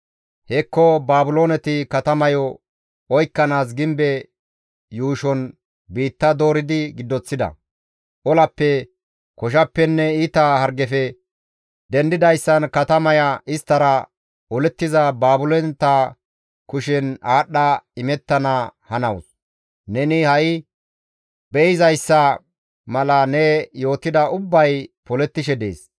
«Hekko Baabilooneti katamayo oykkanaas gimbe yuushon biitta dooridi giddoththida; olappe, koshappenne iita hargefe dendidayssan katamaya isttara olettiza Baabilooneta kushen aadhdha imettana hanawus; neni ha7i be7izayssa mala ne yootida ubbay polettishe dees.